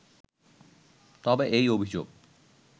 তবে এই অভিযোগ